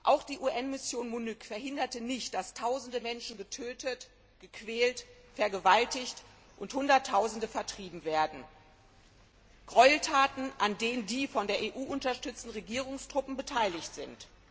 Auch die UN Mission MONUC verhinderte nicht, dass Tausende Menschen getötet, gequält, vergewaltigt und Hunderttausende vertrieben wurden Gräueltaten, an denen die von der EU unterstützten Regierungstruppen beteiligt sind.